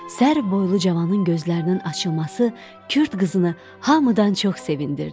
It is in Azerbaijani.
Sərboylu cavanın gözlərinin açılması Kürd qızını hamıdan çox sevindirdi.